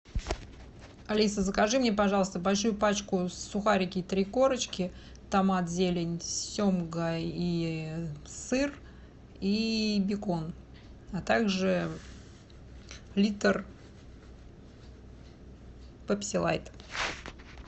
алиса закажи мне пожалуйста большую пачку сухарики три корочки томат зелень семга и сыр и бекон а так же литр пепси лайт